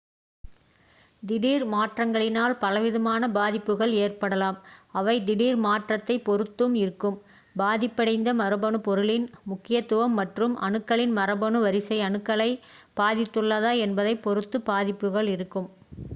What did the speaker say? திடீர் மாற்றங்களினால் பலவிதமான பாதிப்புகள் ஏற்படலாம் அவை திடீர்மாற்றத்தை பொருத்து இருக்கும் பாதிபடைந்த மரபணு பொருளின் முக்கியத்துவம் மற்றும் அணுக்கள் மரபணு வரிசை அணுக்களை பாதித்துள்ளதா என்பதைப் பொருத்து பாதிப்புகள் இருக்கும்